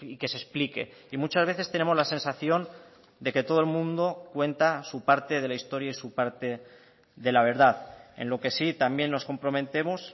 que se explique y muchas veces tenemos la sensación de que todo el mundo cuenta su parte de la historia y su parte de la verdad en lo que sí también nos comprometemos